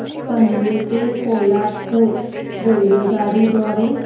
पनवेल ते पोलादपूर रेल्वेगाडी द्वारे